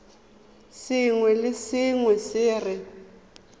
sengwe le sengwe se re